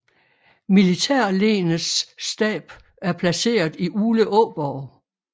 Militærlenets stab er placeret i Uleåborg